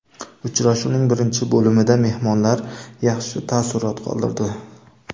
Uchrashuvning birinchi bo‘limida mehmonlar yaxshi taassurot qoldirdi.